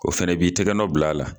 O fɛnɛ b'i tɛgɛ nɔ bila a la.